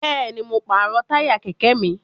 Bẹ́ẹ̀ni, mo pàrọ̀ táyà kẹ̀kẹ́ mi